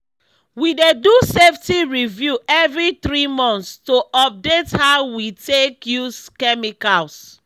we dey do safety review every three months to update how we take use chemicals.